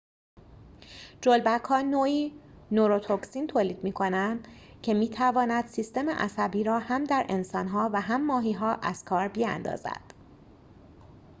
جلبک‌ها نوعی نوروتوکسین تولید می‌کنند که می‌تواند سیستم عصبی را هم در انسان‌ها و هم ماهی‌ها از کار بیاندازد